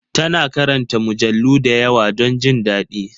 Ta na karanta mujallu da yawa don jin daɗi